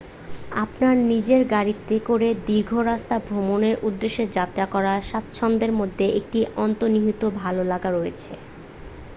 আপনার নিজের গাড়িতে করে দীর্ঘ রাস্তা ভ্রমণের উদ্দেশ্যে যাত্রা করার স্বাচ্ছন্দ্যের মধ্যে একটি অন্তর্নিহিত ভাল লাগা রয়েছে